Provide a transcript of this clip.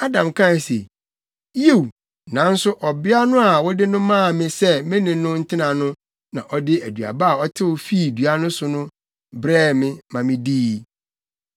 Adam kae se, “Yiw, nanso ɔbea no a wode no maa me sɛ me ne no ntena no na ɔde aduaba a ɔtew fii dua no so no brɛɛ me maa midii.”